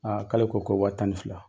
k'ale ko ko wa tan ni fila.